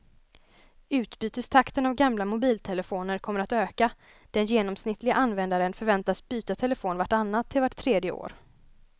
Utbytestakten av gamla mobiltelefoner kommer att öka, den genomsnittliga användaren förväntas byta telefon vart annat till vart tredje år.